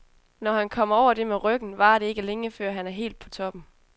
Når han kommer over det med ryggen, varer det ikke længe, før han er helt på toppen.